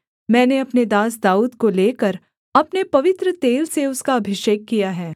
मैंने अपने दास दाऊद को लेकर अपने पवित्र तेल से उसका अभिषेक किया है